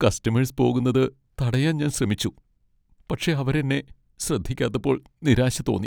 Customers പോകുന്നത് തടയാൻ ഞാൻ ശ്രമിച്ചു, പക്ഷേ അവര് എന്നെ ശ്രദ്ധിക്കാത്തപ്പോൾ നിരാശ തോന്നി.